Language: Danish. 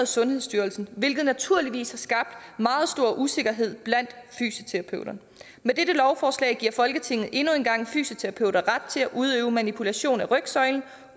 sundhedsstyrelsen hvilket naturligvis har skabt meget stor usikkerhed blandt fysioterapeuterne med dette lovforslag giver folketinget endnu en gang fysioterapeuter ret til at udøve manipulation af rygsøjlen